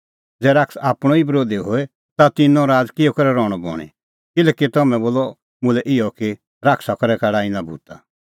ज़ै शैतान आपणअ ई बरोधी होए ता तिन्नों राज़ किहअ करै रहणअ बणीं किल्हैकि तम्हैं बोला मुल्है इहअ कि शैताना करै काढा इना भूता